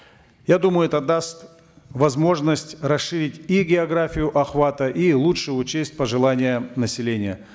я думаю это даст возможность расширить и географию охвата и лучше учесть пожелания населения